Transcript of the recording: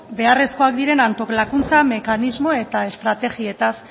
beharrezkoak diren antolakuntza mekanismo eta estrategietaz